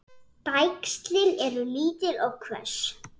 Bægslin eru lítil og hvöss.